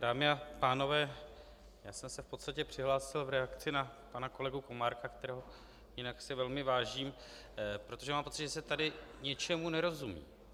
Dámy a pánové, já jsem se v podstatě přihlásil v reakci na pana kolegu Komárka, kterého si jinak velmi vážím, protože mám pocit, že se tady něčemu nerozumí.